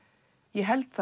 ég held